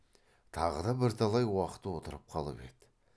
тағы да бірталай уақыт отырып қалып еді